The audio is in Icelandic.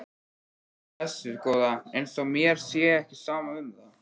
Blessuð góða. eins og mér sé ekki sama um það!